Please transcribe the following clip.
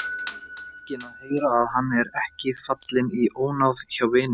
Feginn að heyra að hann er ekki fallinn í ónáð hjá vininum.